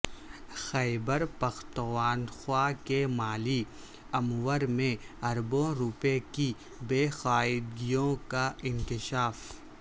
خیبر پختونخوا کے مالی امور میں اربوں روپے کی بے قاعدگیوں کا انکشاف